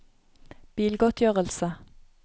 bilgodtgjørelse